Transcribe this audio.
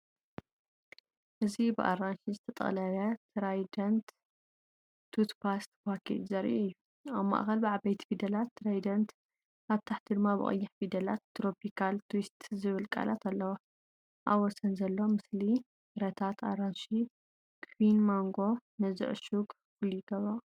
እዚ ብኣራንሺ ዝተጠቕለለ ትራይደንት ቱትፓስት ፓኬጅ ዘርኢ እዩ። ኣብ ማእከል ብዓበይቲ ፊደላት 'ትራይደንት'፡ ኣብ ታሕቲ ድማ ብቐይሕ ፊደላት 'ትሮፒካል ትዊስት' ዝብል ቃላት ኣለዎ። ኣብ ወሰን ዘሎ ምስሊ ፍረታት ኣራንሺ፡ ኪዊን ማንጎን ነዚ ዕሹግ ፍሉይ ይገብሮ።